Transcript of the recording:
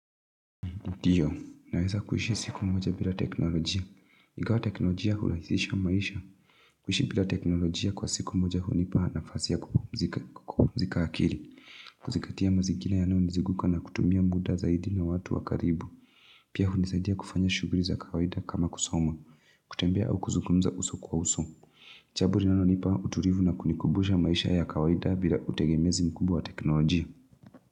Ndiyo, naweza kuhishi siku mmoja bila teknolojia. Ikawa teknolojia hurahizisha maisha. Kuhishi bila teknolojia kwa siku mmoja hunipa nafasi ya kupumzika akili. Kuzingatia mazingira yanayonizunguka na kutumia muda zaidi na watu wakaribu. Pia hunisaidia kufanya shuguli za kawaida kama kusoma. Kutembea au kuzukumza uso kwa uso. Jambo linalonipa utulivu na kunikumbusha maisha ya kawaida bila utegemezi mkubwa wa teknolojia.